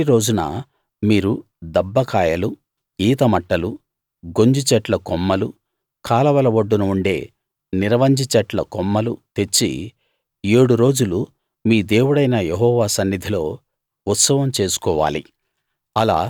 మొదటి రోజున మీరు దబ్బ కాయలు ఈత మట్టలు గొంజి చెట్ల కొమ్మలు కాలవల ఒడ్డున ఉండే నిరవంజి చెట్ల కొమ్మలు తెచ్చి ఏడు రోజులు మీ దేవుడైన యెహోవా సన్నిధిలో ఉత్సవం చేసుకోవాలి